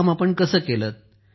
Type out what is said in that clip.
हे काम आपण कसं केलं